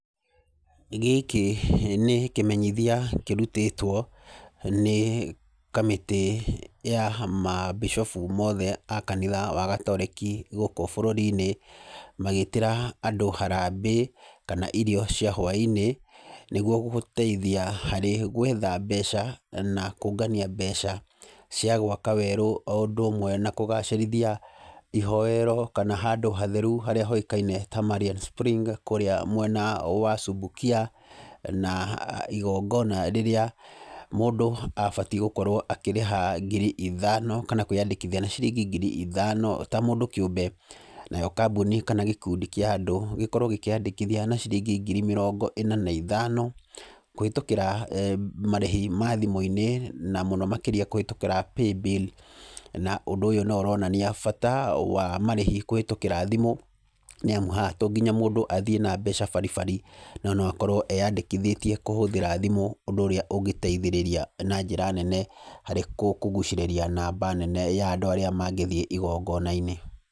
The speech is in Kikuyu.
Gĩkĩ nĩ kĩmenyithia kĩrutĩtwo nĩ kamĩtĩ ya mambicobu mothe a kanitha wa gatoreki gũkũ bũrũri-inĩ, magĩĩtĩra andũ harambĩ kana irio cia hwainĩ nĩguo gũteithia harĩ gwetha mbeca na kũngania mbeca cia gwaka werũ o ũndũ ũmwe na kũgacĩrithia ihoero kana handũ hatheru haria hoĩkaine ta Marian Spring kũrĩa mwena wa Subukia, na igongona rĩrĩa mũndũ abatiĩ gukorwo akĩrĩha ngiri ithano kana kwĩandĩkithia na ciringi ngiri ithano ta mũndũ kĩũmbe, nayo kambuni kana gĩkundi kĩa andũ gĩkorwo gĩkiandĩkithia na ciringi ngiri mĩrongo ĩna na ithano kũhĩtũkĩra marĩhi ma thimũ-inĩ na mũno makĩria kũhĩtũkĩra paybill na ũndũ ũyũ no ũronania bata wa marĩhi kũhĩtũkĩra thĩmũ nĩ amũ haha to mũhaka mũndũ athiĩ na mbeca baribari no noakorwo eyandĩkithĩtie kũhũthĩra thimũ ũndũ ũrĩa ũngĩteithĩrĩria na njĩra nene harĩ kũgucĩrĩria namba nene ya andũ arĩa mangĩthiĩ igongona-inĩ.